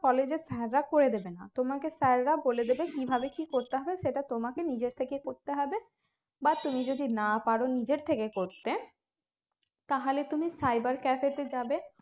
college এর sir রা করে দেবে তোমাকে sir রা বলে দেবে কিভাবে কি করতে হয় সেটা তোমাকে নিজের থেকে করতে হবে বা তুমি যদি না পারো নিজের থেকে করতে তাহলে তুমি cyber cafe তে যাবে